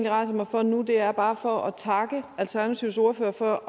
rejser mig for nu er egentlig bare for at takke alternativets ordfører for